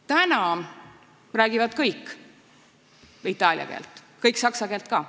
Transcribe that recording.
Täna räägivad kõik seal itaalia keelt, kõik räägivad saksa keelt ka.